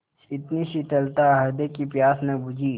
इतनी शीतलता हृदय की प्यास न बुझी